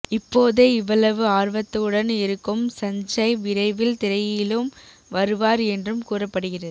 இப்போதே இவ்வளவு ஆர்வத்துடன் இருக்கும் சஞ்சய் விரைவில் திரையிலும் வருவார் என்றும் கூறப்படுகிறது